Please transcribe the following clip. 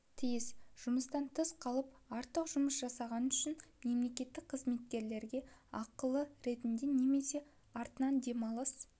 тиіс жұмыстан тыс қалып артық жұмыс жасағаны үшін мемлекеттік қызметкерге ақылы ретінде немесе артынан демалыс